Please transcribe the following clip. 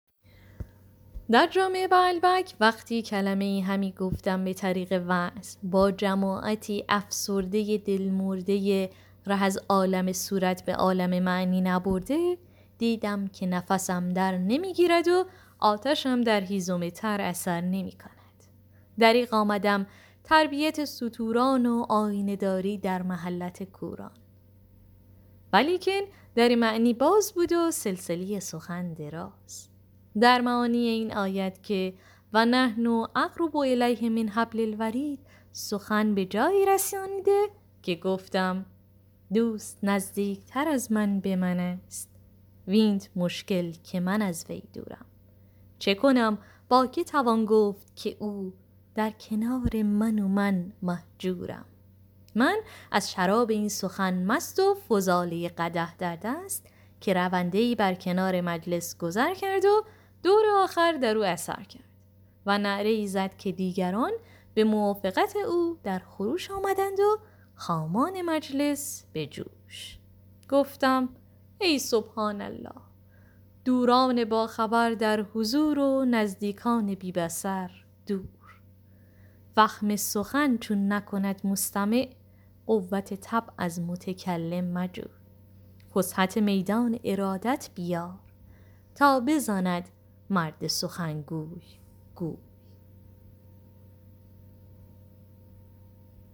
در جامع بعلبک وقتی کلمه ای همی گفتم به طریق وعظ با جماعتی افسرده دل مرده ره از عالم صورت به عالم معنی نبرده دیدم که نفسم در نمی گیرد و آتشم در هیزم تر اثر نمی کند دریغ آمدم تربیت ستوران و آینه داری در محلت کوران ولیکن در معنی باز بود و سلسله سخن دراز در معانی این آیت که و نحن اقرب الیه من حبل الورید سخن به جایی رسانیده که گفتم دوست نزدیکتر از من به من است وینت مشکل که من از وی دورم چه کنم با که توان گفت که او در کنار من و من مهجورم من از شراب این سخن مست و فضاله قدح در دست که رونده ای بر کنار مجلس گذر کرد و دور آخر در او اثر کرد و نعره ای زد که دیگران به موافقت او در خروش آمدند و خامان مجلس به جوش گفتم ای سبحان الله دوران باخبر در حضور و نزدیکان بی بصر دور فهم سخن چون نکند مستمع قوت طبع از متکلم مجوی فسحت میدان ارادت بیار تا بزند مرد سخنگوی گوی